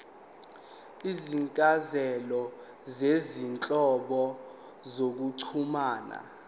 izincazelo zezinhlobo zokuxhumana